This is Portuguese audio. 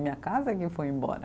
Minha casa que foi embora.